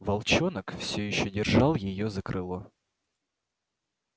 волчонок все ещё держал её за крыло